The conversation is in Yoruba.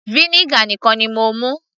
vinegar nìkan ni mo mú